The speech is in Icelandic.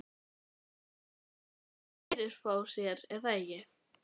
Þú veist að hann. fyrirfór sér, er það ekki?